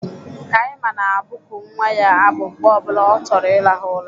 Kaima na-abụku nwa ya abụ mgbe ọ bụla ọ chọrọ ịrahụ ụra